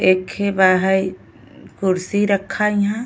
एखे बा हये कुर्सी रखा इहाँ।